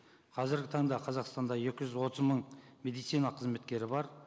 қазіргі таңда қазақстанда екі жүз отыз мың медицина қызметкері бар